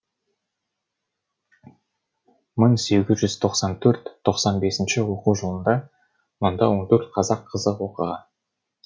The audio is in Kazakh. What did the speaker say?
мың сегіз жүз тоқсан төрт тоқсан бес оқу жылында мұнда он төрт қазақ қызы оқыған